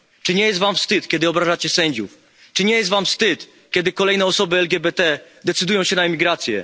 Czy nie jest wam wstyd, kiedy obrażacie sędziów, czy nie jest wam wstyd, kiedy kolejne osoby LGBT decydują się na emigrację?